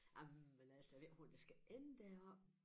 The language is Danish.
Ej men altså jeg ved ikke hvordan det skal ende det her